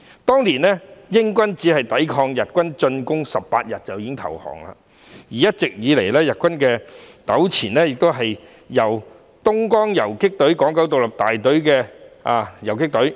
當年，英軍抵抗日軍進攻僅18天便已投降，一直以來與日軍糾纏的是東江縱隊港九獨立大隊游擊隊。